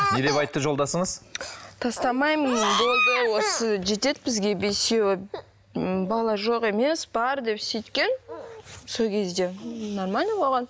не деп айтты жолдасыңыз тастамаймын болды осы жетеді бізге бесеуі м бала жоқ емес бар деп сөйткен сол кезде нормально болған